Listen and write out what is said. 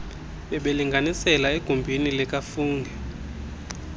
bebelinganisela egumbini likafungie